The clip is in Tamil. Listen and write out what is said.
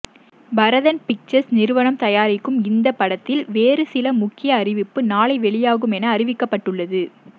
பரதன் பிக்சர்ஸ் நிறுவனம் தயாரிக்கும் இந்தப் படத்தில் வேறு சில முக்கிய அறிவிப்பு நாளை வெளியாகும் என அறிவிக்கப்பட்டுள்ளது